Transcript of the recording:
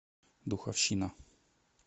духовщина